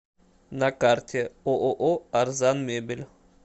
на карте ооо арзанмебель